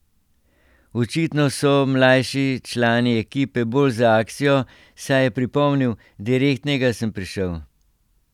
Očitno so mlajši člani ekipe bolj za akcijo, saj je pripomnil: 'Direktnega sem prišel.